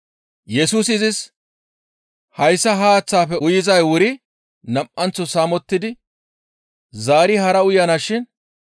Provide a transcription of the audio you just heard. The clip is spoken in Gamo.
Yesusi izis, «Hayssa ha haaththaafe uyizay wuri nam7anththo saamettidi zaari hara uyanashin.